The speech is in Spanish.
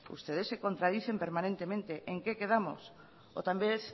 ustedes se contradicen permanentemente en qué quedamos o tal vez